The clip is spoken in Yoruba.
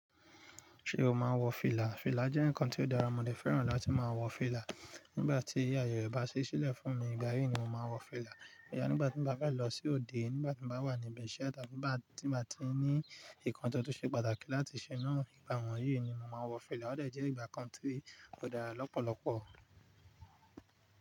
Ṣé o máa ń wọ fìlà? Fìlà jẹ́ ǹkan ti ó dára, mo dẹ̀ fẹ́ràn láti máa wọ fìlà. Nígbà tí aayẹ rẹ bá ṣí sílẹ̀ fún mi, ìgbà yìí ni mo máa n wọ fìlà. Rárá, nígbà tí mo bá fẹ́ lọ sí òde, nígbà tí mo bá wà ní ibi ṣe tàbí nígbà tí mo bá ti ní ǹkan tó tó ṣe pàtàkì láti ṣe náà, ìgbà wọ̀nyí ni mo máa wọ fìlà. Ó dẹ̀ jẹ́ ìgbà kan tí ó dára lọ́pọ̀lọpọ̀.